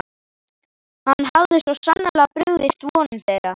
Hann hafði svo sannarlega brugðist vonum þeirra.